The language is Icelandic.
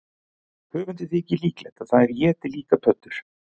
Höfundi þykir líklegt að þær éti líka pöddur.